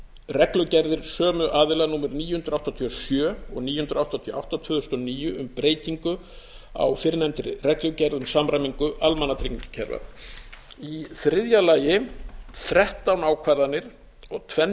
reglugerðir sömu aðila númer níu hundruð áttatíu og sjö og níu hundruð áttatíu og átta tvö þúsund og níu um breytingu á fyrrnefndri reglugerð um samræmingu almannatryggingakerfa í þriðja lagi þrettán ákvarðanir og tvenn